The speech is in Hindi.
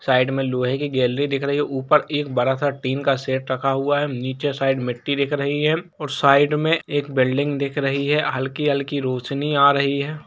साइड में लोहे की गैलरी दिख रही है ऊपर एक बड़ा सा टीन का सेट रखा हुआ है निचे साइड मिट्टी दिख रही है और साइड में एक बील्डिंग दिख रही है हल्की हल्की रोशनी आ रही हैं।